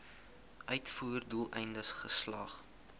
uitvoer doeleindes geslag